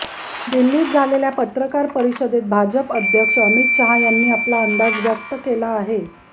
दिल्लीत झालेल्या पत्रकार परिषदेत भाजप अध्यक्ष अमित शहा यांनी आपला अंदाज व्यक्त केला आहे